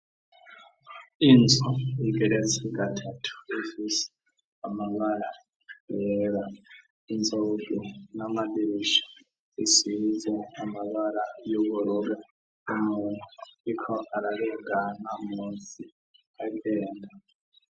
Inzu igeretse gatatu ifise amabara yera inzugi namadirisha isize amabara yuburur umuntu Ariko ararengana munsi agenda.